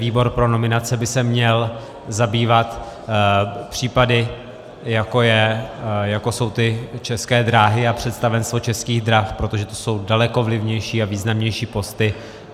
Výbor pro nominace by se měl zabývat případy, jako jsou ty České dráhy a představenstvo Českých drah, protože to jsou daleko vlivnější a významnější posty.